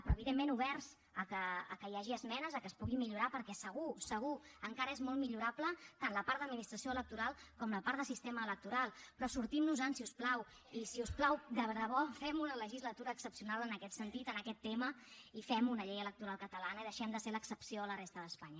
però evidentment oberts que hi hagi esmenes que es pugui millorar perquè segur segur encara és molt millorable tant la part d’administració electoral com la part de sistema electoral però sortim nos en si us plau i si us plau de debò fem una legislatura excepcional en aquest sentit en aquest tema i fem una llei electoral catalana i deixem de ser l’excepció a la resta d’espanya